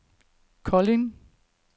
Kolding